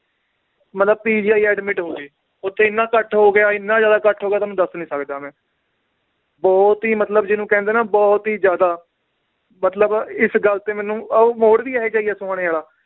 ਮਤਲਬ PGI admit ਹੋ ਗਏ, ਓਥੇ ਇੰਨਾ ਇਕੱਠ ਹੋ ਗਿਆ ਇੰਨਾ ਜ਼ਿਆਦਾ ਇਕੱਠ ਹੋ ਗਿਆ ਤੁਹਾਨੂੰ ਦੱਸ ਨੀ ਸਕਦਾ ਮੈ ਬਹੁਤ ਹੀ ਮਤਲਬ ਜਿਹਨੂੰ ਕਹਿੰਦੇ ਨਾ ਬਹੁਤ ਹੀ ਜ਼ਿਆਦਾ ਮਤਲਬ ਇਸ ਗੱਲ ਤੇ ਮੈਨੂੰ ਉਹ ਮੋੜ ਵੀ ਇਹ ਜਿਹਾ ਹੀ ਏ ਸੋਹਾਣੇ ਵਾਲਾ